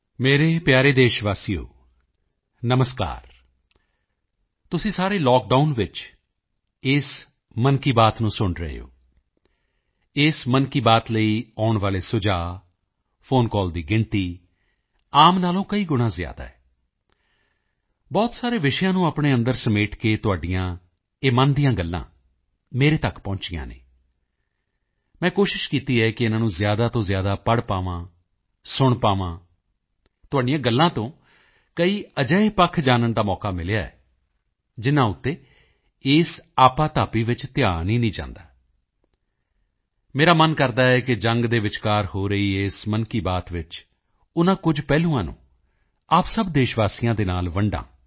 ਮੇਰੇ ਪਿਆਰੇ ਦੇਸ਼ਵਾਸੀਓ ਨਮਸਕਾਰ ਤੁਸੀਂ ਸਾਰੇ ਲਾਕਡਾਊਨ ਵਿੱਚ ਇਸ ਮਨ ਕੀ ਬਾਤ ਨੂੰ ਸੁਣ ਰਹੇ ਹੋ ਇਸ ਮਨ ਕੀ ਬਾਤ ਲਈ ਆਉਣ ਵਾਲੇ ਸੁਝਾਅ ਫੋਨ ਕਾਲ ਦੀ ਸੰਖਿਆ ਆਮ ਨਾਲੋਂ ਕਈ ਗੁਣਾ ਜ਼ਿਆਦਾ ਹੈ ਬਹੁਤ ਸਾਰੇ ਵਿਸ਼ਿਆਂ ਨੂੰ ਆਪਣੇ ਅੰਦਰ ਸਮੇਟ ਤੁਹਾਡੀਆਂ ਇਹ ਮਨ ਦੀਆਂ ਗੱਲਾਂ ਮੇਰੇ ਤੱਕ ਪਹੁੰਚੀਆਂ ਹਨ ਮੈਂ ਕੋਸ਼ਿਸ਼ ਕੀਤੀ ਹੈ ਕਿ ਇਨ੍ਹਾਂ ਨੂੰ ਜ਼ਿਆਦਾ ਤੋਂ ਜ਼ਿਆਦਾ ਪੜ੍ਹ ਪਾਵਾਂ ਸੁਣ ਪਾਵਾਂ ਤੁਹਾਡੀਆਂ ਗੱਲਾਂ ਤੋਂ ਕਈ ਅਜਿਹੇ ਪਹਿਲੂ ਜਾਨਣ ਨੂੰ ਮਿਲੇ ਹਨ ਜਿਨ੍ਹਾਂ ਉੱਤੇ ਇਸ ਆਪਾਧਾਪੀ ਵਿੱਚ ਧਿਆਨ ਹੀ ਨਹੀਂ ਜਾਂਦਾ ਮੇਰਾ ਮਨ ਕਰਦਾ ਹੈ ਕਿ ਯੁੱਧ ਦੇ ਵਿਚਕਾਰ ਹੋ ਰਹੀ ਇਸ ਮਨ ਕੀ ਬਾਤ ਵਿੱਚ ਉਨ੍ਹਾਂ ਕੁਝ ਪਹਿਲੂਆਂ ਨੂੰ ਆਪ ਸਭ ਦੇਸ਼ਵਾਸੀਆਂ ਦੇ ਨਾਲ ਵੰਡਾਂ